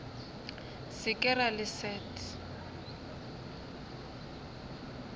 se ke ra le leset